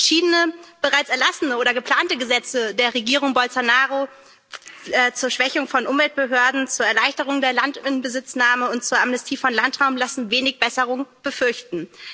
Verschiedene bereits erlassene oder geplante Gesetze der Regierung Bolsonaro zur Schwächung von Umweltbehörden, zur Erleichterung der Inbesitznahme von Land und zur Amnestie von Landraub lassen wenig Besserung befürchten.